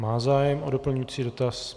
Má zájem o doplňující dotaz.